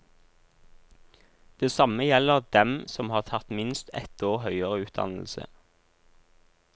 Det samme gjelder dem som har tatt minst et år høyere utdannelse.